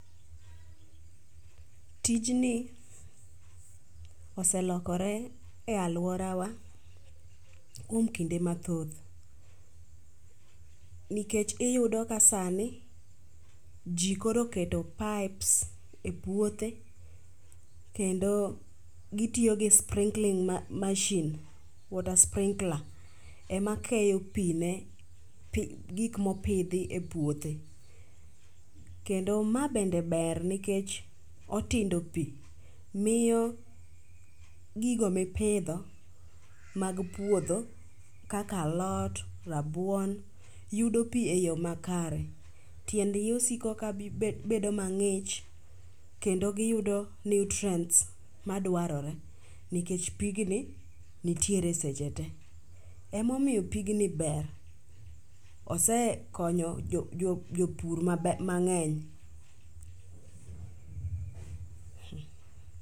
tijni oselokore e aluora w akuom kinde mathoth nikech iyudo ka sani jii koro oketo pipes e puothe kendo gitiyo gi sprinkling machine, water sprinkler emakeyo pii ne gik mopidhie puothe. Kendo ma bende ber nikech otindo pii miyo gigo mipidho mag puodho kaka alot, rabuon yudo pii e yoo makare, tiendgi osiko ka bedo mangich kendo giyudo nutrients madwarore nikech pigni nitiere seche tee. Emomiyo pigni ber, osekonyo jopur mangeny